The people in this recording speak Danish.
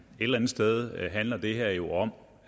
eller andet sted handler det her jo om